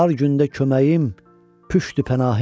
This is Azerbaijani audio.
Dar gündə köməyim, püştü pənahim.